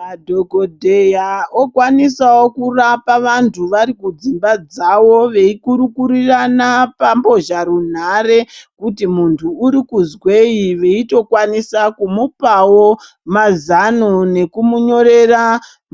Madhokodheya okwanisawo kurapa vantu vari kudzimba dzavo veikurukurirana pambozha runhare kuti muntu uri kuzwei veitokwanisa kumupawo mazano nekumunyorera